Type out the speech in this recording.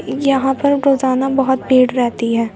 यहां पर रोजाना बहुत भीड़ रहती है।